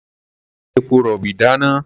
A ò lè fi epo-rọ̀bì dáná.